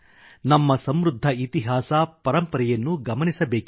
ನಮ್ಮ ಸಮೃದ್ಧ ಇತಿಹಾಸ ಪರಂಪರೆಯನ್ನು ಗಮನಿಸಬೇಕಿದೆ